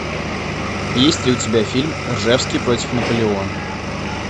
есть ли у тебя фильм ржевский против наполеона